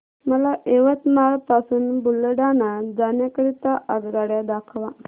मला यवतमाळ पासून बुलढाणा जाण्या करीता आगगाड्या दाखवा